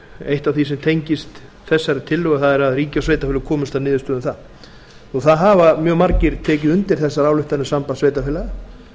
eitt af því sem tengist þessari tillögu það er að ríki og sveitarfélög komist að niðurstöðu um það það hafa mjög margir tekið undir þessar ályktanir sambands sveitarfélaga